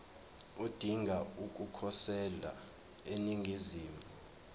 odinga ukukhosela eningizimu